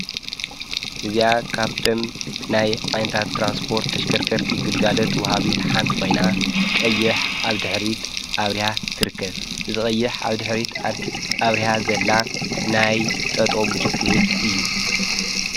እዚኣ ካብቶም ናይ ዓይነታት ትራንስፖርት ተሽከርከርቲ ይግልጋለት ወሃቢት ሓንቲ ኾይና ቀይሕ ዓብ ድኅሪት ኣብርያ ትርከብ ዝ ቐይሕ ዓብ ድኅሪት ኣብርያ ዘላ ናይ ጠጦ ምልክት እዩ።